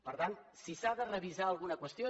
per tant si s’ha de revisar alguna qüestió